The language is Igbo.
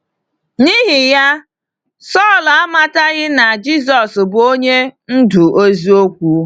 N’ihi ya, Saulu amataghị na Jisọs bụ onye ndu eziokwu.